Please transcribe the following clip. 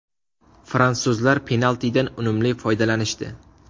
Fransuzlar penaltidan unumli foydalanishdi.